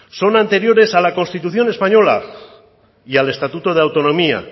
son anteriores a la constitución española y al estatuto de autonomía